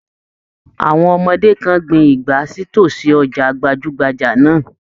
Àwọn ọmọdé kan gbìn igbá sí tosí ọjà gbajugbaja náà.